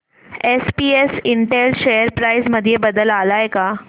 SPS Intel share price मध्ये बदल आलाय का